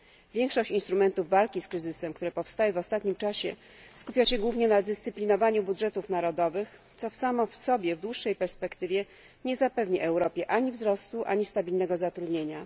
Większość instrumentów walki z kryzysem, które powstały w ostatnim czasie, skupia się głównie na dyscyplinowaniu budżetów narodowych, co samo w sobie w dłuższej perspektywie nie zapewni Europie ani wzrostu, ani stabilnego zatrudnienia.